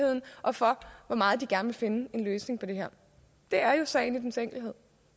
og for hvor meget de gerne ville finde en løsning på det her det er jo sagen i dens enkelhed